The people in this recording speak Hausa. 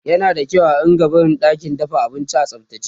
yana da kyau a rinka barin ɗakin dafa abinci a tsaftace